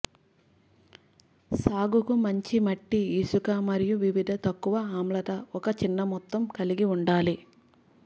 సాగుకు మంచి మట్టి ఇసుక మరియు వివిధ తక్కువ ఆమ్లత ఒక చిన్న మొత్తం కలిగి ఉండాలి